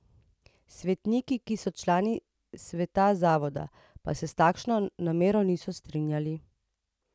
Svetniki, ki so člani sveta zavoda, pa se s takšno namero niso strinjali.